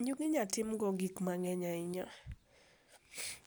njugu inyalo tim go gik mang'eny ahinya.